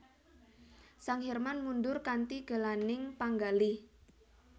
Sang Hirman mundhur kanthi gelaning panggalih